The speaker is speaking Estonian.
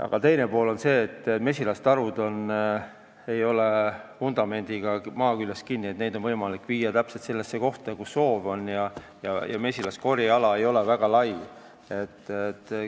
Aga teine pool on see, et mesilastarud ei ole vundamendiga maa küljes kinni, neid on võimalik viia täpselt sellesse kohta, kuhu soovitakse, ja mesilaste korjeala ei ole väga lai.